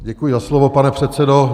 Děkuji za slovo, pane předsedo.